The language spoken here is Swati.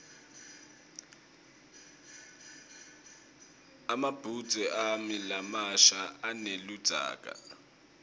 emabhudze ami lamasha aneludzaka